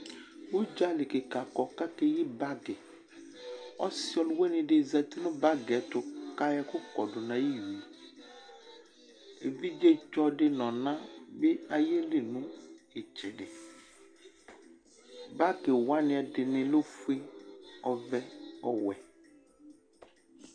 Uɖzali kikã kɔ Ku ake yi bagi Ɔsi ɔluwini ɖi zãtí nu bagi yɛ ayɛtú Ku ayɔ ɛku kɔɖu nu ayi iyo yɛ Eʋiɖze tsɔ ɖi nu ɔna bi aye li nu itsɛɖi Bagi waní ɛɖini lɛ ofue, ɔʋɛ, ɔwɛ